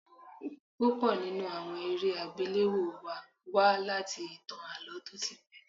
Púpọ̀ nínú àwọn eré àgbéléwò wa wá láti ìtàn Àlọ́ tó ti pé.